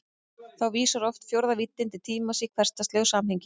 Þá vísar oft fjórða víddin til tímans í hversdagslegu samhengi.